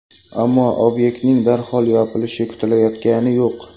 Ammo obyektning darhol yopilishi kutilayotgani yo‘q.